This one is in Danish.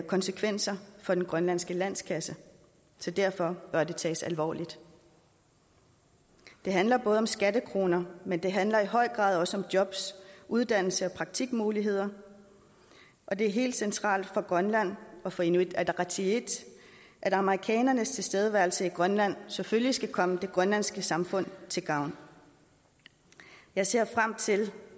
konsekvenser for den grønlandske landskasse så derfor bør det tages alvorligt det handler både om skattekroner men det handler i høj grad også om jobs uddannelse og praktikmuligheder og det er helt centralt for grønland og for inuit ataqatigiit at amerikanernes tilstedeværelse i grønland selvfølgelig skal komme det grønlandske samfund til gavn jeg ser frem til